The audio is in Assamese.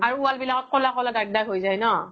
আৰু wall বিলাকত ক'লা ক'লা দাগ দাগ হয় যাই ন্?